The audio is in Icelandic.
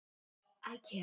Megi þeim vel ganga.